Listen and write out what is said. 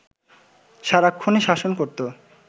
সারাক্ষণই শাসন করতো